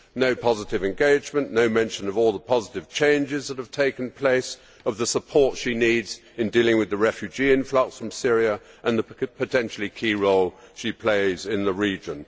No positive engagement, no mention of all the positive changes that have taken place, of the support it needs in dealing with the refugee influx from Syria, or of the potentially key role it plays in the region.